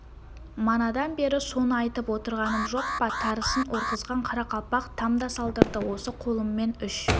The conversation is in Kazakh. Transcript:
манадан бері соны айтып отырғаным жоқ па тарысын орғызған қарақалпақ там да салдырды осы қолыммен үш